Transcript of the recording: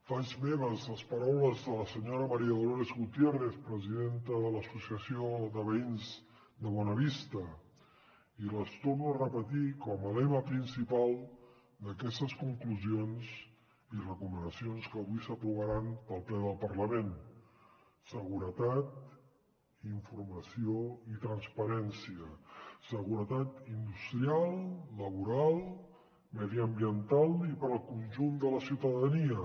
faig meves les paraules de la senyora maría dolores gutiérrez presidenta de l’associació de veïns de bonavista i les torno a repetir com a lema principal d’aquestes conclusions i recomanacions que avui s’aprovaran pel ple del parlament seguretat informació i transparència seguretat industrial laboral mediambiental i per al conjunt de la ciutadania